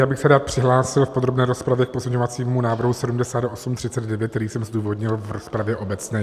Já bych se rád přihlásil v podrobné rozpravě k pozměňovacímu návrhu 7839, který jsem zdůvodnil v rozpravě obecné.